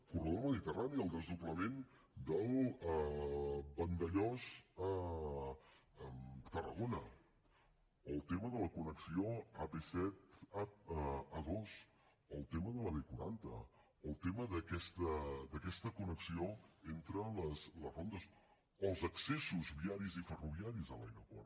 corredor mediterrani el desdoblament del vandellòs tarragona o el tema de la connexió ap set amb a dos o el tema de la b quaranta o el tema d’aquesta connexió entre les rondes o els accessos viaris i ferroviaris a l’aeroport